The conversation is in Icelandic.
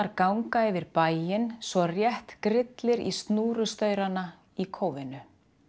ganga yfir bæinn svo rétt grillir í í kófinu